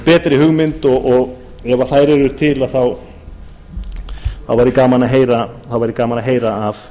betri hugmynd og ef þær eru til þá væri gaman að heyra af